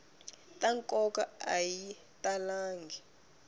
ta nkoka a yi talangi